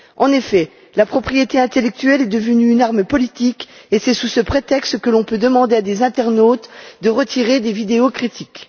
En effet, la propriété intellectuelle est devenue une arme politique et c'est sous ce prétexte que l'on peut demander à des internautes de retirer des vidéos critiques.